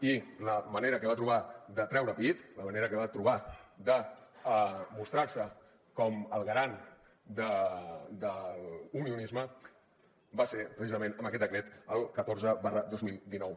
i la manera que va trobar de treure pit la manera que va trobar de mostrar se com el garant de l’unionisme va ser precisament amb aquest decret el catorze dos mil dinou